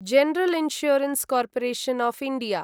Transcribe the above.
general insurance corporation of India